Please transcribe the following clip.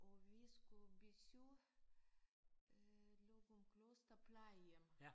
Og vi skulle besøge øh Løgumkloster Plejehjem